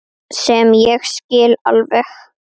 Sem ég skil alveg.